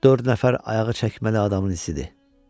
Dörd nəfər ayağı çəkməli adamın izidir.